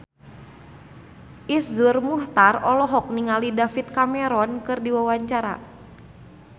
Iszur Muchtar olohok ningali David Cameron keur diwawancara